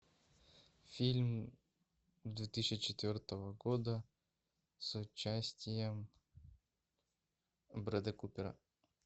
фильм две тысячи четвертого года с участием брэда купера